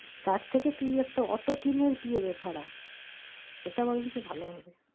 তার থেকে তুই একটা অটো কিনে দিয়ে দে ভাড়া সেটা বরঞ্চ ভালো হবে।